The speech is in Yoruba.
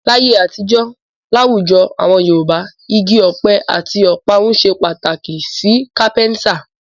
Láyé àtijó, láwùjọ awon Yorùbá, igi ọ̀pẹ àti ọ̀parun ṣe pàtàkì sí kápẹ́ńtà.